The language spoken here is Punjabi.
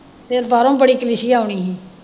ਫਿਰ ਬਾਹਰੋਂ ਬੜੀ ਕਲੀਸੀਆ ਆਉਣੀ ਹੀ।